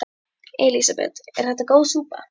Elísabet: Er þetta góð súpa?